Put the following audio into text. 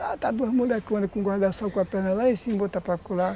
Lá estão duas moleconas com guarda-sol com a perna lá em cima, outra para acolá